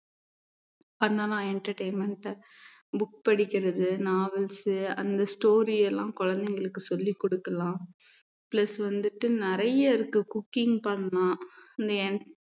பண்ணலாம் entertainment அ book படிக்கிறது novels அந்த story எல்லாம் குழந்தைகளுக்கு சொல்லிக் கொடுக்கலாம் plus வந்துட்டு நிறைய இருக்கு cooking பண்ணலாம்